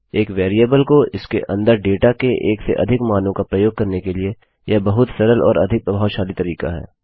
एक वेरिएबल को इसके अंदर डेटा के एक से अधिक मानों का प्रयोग करने के लिए यह बहुत सरल और अधिक प्रभावशाली तरीका है